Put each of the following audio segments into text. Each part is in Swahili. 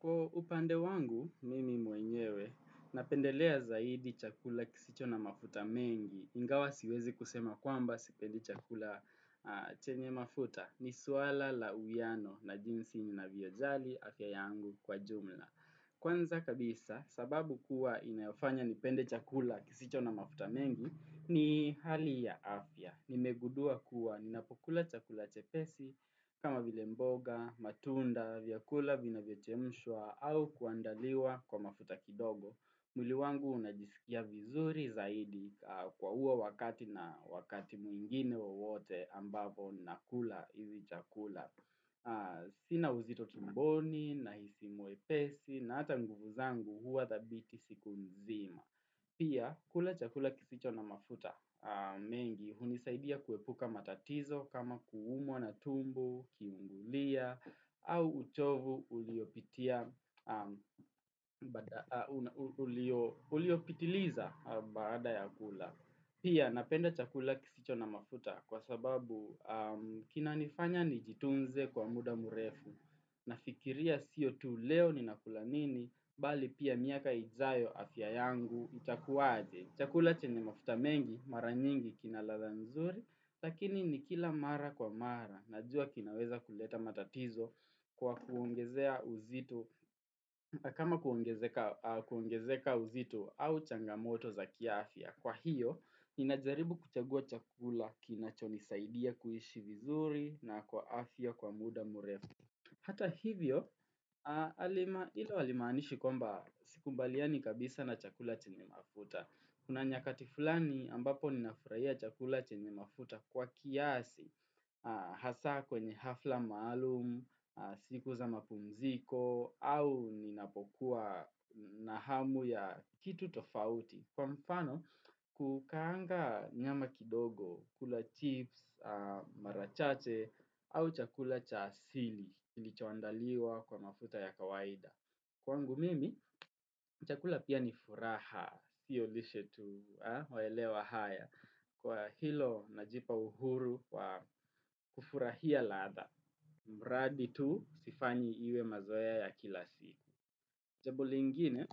Kwa upande wangu, mimi mwenyewe, napendelea zaidi chakula kisicho na mafuta mengi. Ingawa siwezi kusema kwamba sipendi chakula chenye mafuta ni suala la uiyano na jinsi ninavyo jali afya yangu kwa jumla. Kwanza kabisa, sababu kuwa inayofanya nipende chakula kisicho na mafuta mengi, ni hali ya afya. Nimegudua kuwa, ninapokula chakula chepesi, kama vile mboga, matunda, vyakula vinavyochemshua, au kuandaliwa kwa mafuta kidogo. Mwili wangu unajisikia vizuri zaidi kwa uwo wakati na wakati mwingine wowote ambavo nakula hizi chakula. Sina uzito tumboni, nahisi mwepesi, na ata nguvu zangu huwa dhabiti siku nzima. Pia, kula chakula kisicho na mafuta mengi hunisaidia kuepuka matatizo kama kuumwa na tumbo, kiungulia, au uchovu uliopitiliza baada ya kula. Pia napenda chakula kisicho na mafuta kwa sababu kina nifanya nijitunze kwa muda murefu. Nafikiria siyo tu leo ni nakula nini, bali pia miaka ijayo afya yangu itakuwaje. Chakula chenye mafuta mengi, mara nyingi kina ladha nzuri, lakini nikila mara kwa mara. Najua kinaweza kuleta matatizo kwa kuongezea uzito, kama kuongezeka uzito au changamoto za kiafya. Kwa hiyo, inajaribu kuchagua chakula kinachonisaidia kuishi vizuri na kwa afya kwa muda murefu. Hata hivyo, ilo alimaanishi kwamba sikubaliani kabisa na chakula chenye mafuta. Kuna nyakati fulani ambapo ninafuraia chakula chenye mafuta kwa kiasi, hasa kwenye hafla maalumu, sikuza mapumziko, au ninapokuwa nahamu ya kitu tofauti. Kwa mfano, kukaanga nyama kidogo, kula chips, marachache, au chakula cha asili, kilichoandaliwa kwa mafuta ya kawaida. Kwangu mimi, chakula pia ni furaha, siyo lishe tu, waelewa haya. Kwa hilo, najipa uhuru kwa kufurahia ladha. Mradi tu, sifanyi iwe mazoeya ya kila siku. Jambo lingine,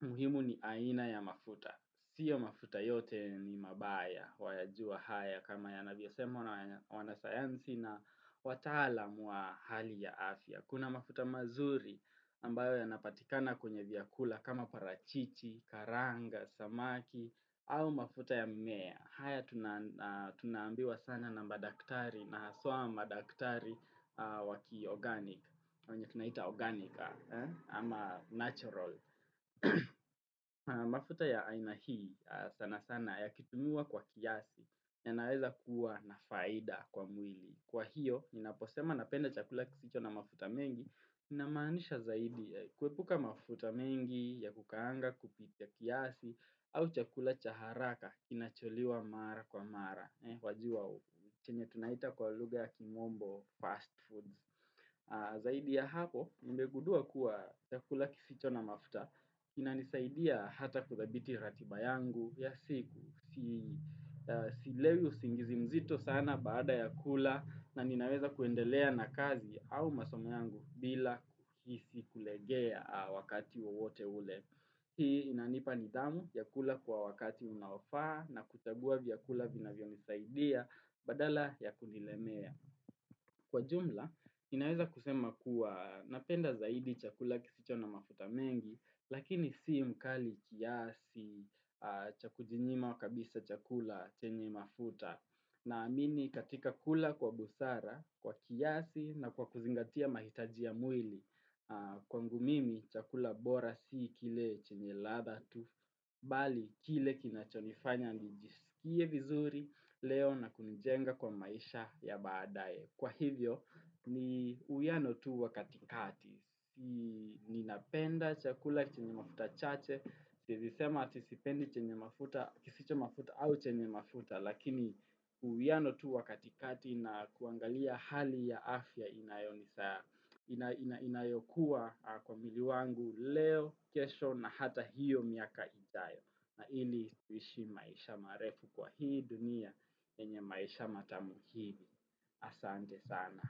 muhimu ni aina ya mafuta. Sio mafuta yote ni mabaya, wayajua haya kama yanavyosema wanasayansi na wataalam wa hali ya afya. Kuna mafuta mazuri ambayo yanapatikana kwenye viakula kama parachichi, karanga, samaki, au mafuta ya mmea. Haya tunaambiwa sana na madaktari na haswa madaktari waki organic. Wenye tunaita organic ama natural. Mafuta ya aina hii sana sana yakitumiwa kwa kiasi yanaweza kuwa nafaida kwa mwili. Kwa hiyo, ninaposema napenda chakula kisicho na mafuta mengi, inamaanisha zaidi kuepuka mafuta mengi ya kukaanga kupitia kiasi au chakula cha haraka, kinacholiwa mara kwa mara. Wajua hu, chenye tunaita kwa lugha ya kimombo fast foods. Zaidi ya hapo, nimegudua kuwa chakula kisicho na mafuta. Inanisaidia hata kuthabiti ratiba yangu, ya siku. Sielewi usingizi mzito sana baada ya kula, na ninaweza kuendelea na kazi au masoma yangu bila kisi kulegea wakati wa wote ule. Hii inanipa nidhamu ya kula kwa wakati unaofaa na kuchagua vyakula vinavyo nisaidia badala ya kunilemea. Kwa jumla, inaweza kusema kuwa napenda zaidi chakula kisicho na mafuta mengi, lakini sii mkali kiasi cha kujinyima kabisa chakula chenye mafuta. Naamini katika kula kwa busara, kwa kiasi na kwa kuzingatia mahitaja ya mwili. Kwangu mimi chakula bora si kile chenye ladha tu Bali kile kinachonifanya nijisikie vizuri leo na kunijenga kwa maisha ya baadae Kwa hivyo ni uiyano tu wa katikati Ninapenda chakula chenye mafuta chache sieizi sema ati sipendi chenye mafuta kisicho mafuta au chenye mafuta Lakini uiyano tu wa katikati na kuangalia hali ya afya inayoni saa inayokuwa kwa mwili wangu leo, kesho na hata hiyo miaka ijayo na hili tuishi maisha marefu kwa hii dunia Kenye maisha matamu hili Asante sana.